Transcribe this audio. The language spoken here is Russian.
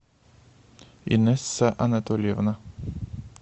инесса анатольевна